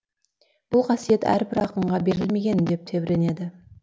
бұл қасиет әрбір ақынға берілмеген деп тебіренеді